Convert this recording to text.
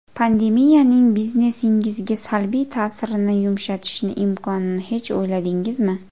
Pandemiyaning biznesingizga salbiy ta’sirni yumshatishni imkonini hech uyladingizmi?